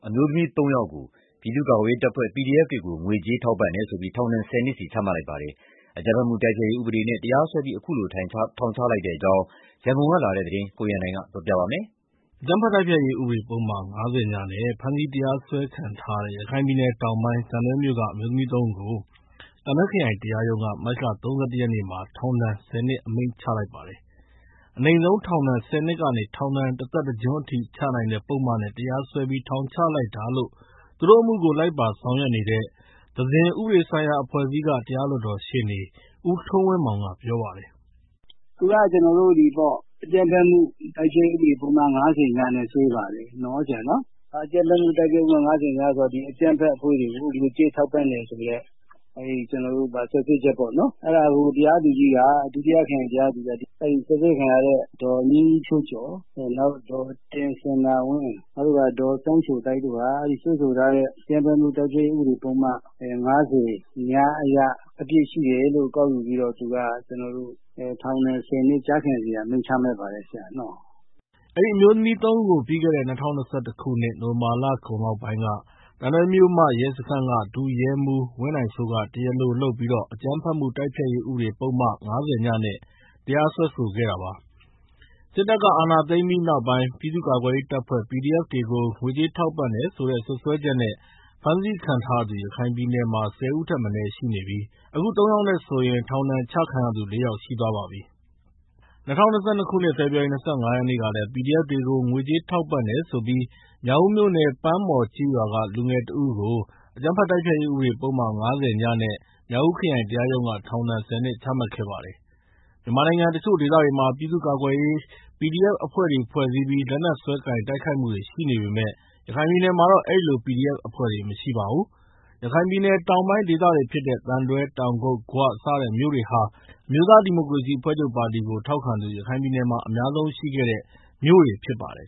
အမျိုးသမီး ၃ ယောက်ကို ပြည်သူ့ကာကွယ်ရေးတပ်ဖွဲ့ PDF တွေကို ငွေကြေး ထောက်ပံ့တယ်ဆိုပြီး ထောက်ဒဏ် ၁၀ နှစ် ချမှတ်လိုက်ပါတယ်။ အကြမ်းဖက်မှုတိုက်ဖျက်ရေး ဥပဒေနဲ့ တရားစွဲပြီး ခုလို ထောင်ဒဏ်ချလိုက်တဲ့အကြောင်း ရန်ကုန်ကလာတဲ့ သတင်းကို ကိုရန်နိုင်က တင်ပြပေးထားပါတယ်။ အကြမ်းဖက်မှုတိုက်ဖျက်ရေးဥပဒေ ပုဒ်မ ၅၀ (ည) နဲ့ ဖမ်းဆီးတရားစွဲခံထားရတဲ့ ရခိုင်ပြည်နယ်တောင်ပိုင်း သံတွဲမြို့က အမျိုးသမီး ၃ ဦးကို သံတွဲခရိုင် တရားရုံးက မတ်လ ၃၁ ရက်နဲ့ ထောင်ဒဏ် ၁၀ နှစ်အမိန့်ချ လိုက်ပါတယ်။ အနိမ့်ဆုံးပြစ်ဒဏ် ၁၀ နှစ်ကနေ ထောင်ဒဏ် တသက်တကျွန်းချနိုင်တဲ့ ပုဒ်မနဲ့ တရားစွဲပြီး ထောင်ချလိုက်တာလို့ သူတို့အမှုကို လိုက်ပါဆောင်ရွက်နေတဲ့ သဇင် ဥပဒေဆိုင်ရာ အဖွဲ့အစည်းက တရားလွှတ်တော်ရှေ့နေ ဦးထွန်းဝင်းမောင်က ပြောပြပါတယ်။ “အကြမ်းဖက်မှု တိုက်ဖျက်ရေးဥပဒေပုဒ်မ ၅၀ (ည) နဲ့ စွဲတာပေါ့။ အကြမ်းဖက်အဖွဲ့တွေကို ငွေကြေးထောက်ပံ့တယ်ဆိုပြီးတော့ စွပ်စွဲချက်ပေါ့နော်၊ အဲဒါကို တရားသူကြီးက စွပ်စွဲခံရတဲ့ ဒေါ်မြင့်မြင့်ဖြိုးကျော်၊ ဒေါ်တင်စန္ဒာဝင်း၊ နောက်ပြီးတော့ ဒေါ်စန်းချိုသိုက်တို့ကို အဲဒီစွဲဆိုထားတဲ့ အကြမ်းဖက်မှု တိုက်ဖျက်ရေးဥပဒေပုဒ်မ ၅၀ (ည) အရ အပြစ်ရှိတယ်လို့ ကောက်ယူပြီးတော့ သူက ထောက်ဒဏ် ၁၀ နှစ် ကျခံစေရန်အမိန့်ချပါတယ်။” အဲဒီအမျိုးသမီး ၃ ဦးကို ပြီးခဲ့တဲ့ ၂၀၂၁ခုနှစ် နိုဝင်ဘာလအကုန်ပိုင်းလောက်က သံတွဲမြို့မရဲစခန်းက ဒုရဲမှူးဝင်းနိုင်စိုးက တရားလိုလုပ်ပြီး အကြမ်းဖက်မှုတိုက်ဖျက်ရေး ဥပဒေပုဒ်မ ၅၀ (ည) နဲ့ တရားစွဲဆိုခဲ့တာပါ။ စစ်တပ်က အာဏာသိမ်းပြီးနောက်ပိုင်း ပြည်သူ့ကာကွယ်ရေးတပ်ဖွဲ့ PDF တွေကို ငွေကြေး ထောက်ပံ့တယ်ဆိုတဲ့စွပ်စဲချက်နဲ့ ဖမ်းဆီးခံထားရသူ ရခိုင်ပြည်နယ်မှာ ၁၀ ဦးထက်မနည်း ရှိနေပြီး အခု ၃ ယောက်နဲ့ဆိုရင် ထောင်ဒဏ်ပြစ်ဒဏ်ချခံရသူ ၄ ယောက်ရှိသွားပါပြီ။ ၂၀၂၂ ခုနှစ် ဖေဖော်ရီလ ၂၅ ရက်နေ့ကလည်း PDF တွေကို ငွေကြေးထောက်ပံ့တယ်ဆိုပြီး မြောက်ဦးမြို့နယ် ပန်းမော်ကျေးရွာက လူငယ်တဦးကိုလည်း အကြမ်းဖက်တိုက်ဖျက်ရေး ဥပဒေပုဒ်မ ၅၀ (ည)နဲ့ မြောက်ဦး ခရိုင်တရားရုံးက ထောင်ဒဏ် ၁၀နှစ် ချမှတ်ခဲ့ပါတယ်။ မြန်မာနိုင်ငံတချို့ဒေသတွေမှာ ပြည်သူူ့ကာကွယ်ရေး PDF အဖွဲ့တွေ ဖွဲ့စည်းပြီး လက်နက်စွဲကိုင် တိုက်ခိုက်မှုတွေ ရှိနေပေမယ့် ရခိုင်ပြည်နယ်မှာတော့ အဲဒီလို PDF အဖွဲ့တွေ မရှိပါဘူး။ ရခိုင်ပြည်နယ် တောင်ပိုင်းဒေသတွေဖြစ်တဲ့ သံတွဲ၊ တောင်ကုတ်၊ ဂွ စတဲ့မြို့တွေဟာ အမျိုးသားဒီမိုကရေစီအဖွဲ့ချုပ်ပါတီကို ထောက်ခံသူ ရခိုင်ပြည်နယ်မှာ အများဆုံးရှိခဲ့တဲ့ မြို့တွေဖြစ်ပါတယ်